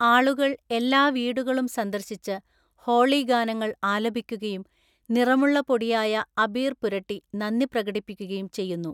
ആളുകൾ എല്ലാ വീടുകളും സന്ദർശിച്ച് ഹോളി ഗാനങ്ങൾ ആലപിക്കുകയും നിറമുള്ള പൊടിയായ അബീർ പുരട്ടി നന്ദി പ്രകടിപ്പിക്കുകയും ചെയ്യുന്നു.